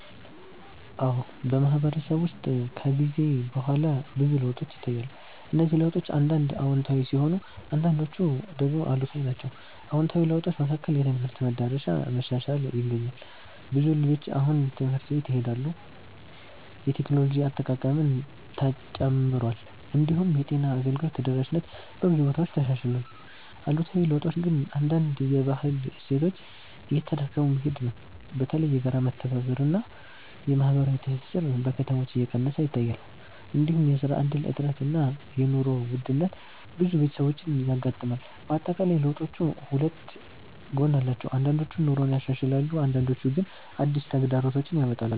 አዎ፣ በማህበረሰብ ውስጥ ከጊዜ በኋላ ብዙ ለውጦች ይታያሉ። እነዚህ ለውጦች አንዳንድ አዎንታዊ ሲሆኑ አንዳንዶቹ ደግሞ አሉታዊ ናቸው። አዎንታዊ ለውጦች መካከል የትምህርት መዳረሻ መሻሻል ይገኛል። ብዙ ልጆች አሁን ትምህርት ቤት ይሄዳሉ፣ የቴክኖሎጂ አጠቃቀምም ተጨምሯል። እንዲሁም የጤና አገልግሎት ተደራሽነት በብዙ ቦታዎች ተሻሽሏል። አሉታዊ ለውጦች ግን አንዳንድ የባህል እሴቶች እየተዳከሙ መሄድ ነው። በተለይ የጋራ መተባበር እና የማህበራዊ ትስስር በከተሞች እየቀነሰ ይታያል። እንዲሁም የስራ እድል እጥረት እና የኑሮ ውድነት ብዙ ቤተሰቦችን ያጋጥማል። በአጠቃላይ ለውጦቹ ሁለት ጎን አላቸው፤ አንዳንዶቹ ኑሮን ያሻሽላሉ አንዳንዶቹ ግን አዲስ ተግዳሮቶች ያመጣሉ።